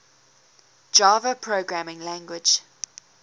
java programming language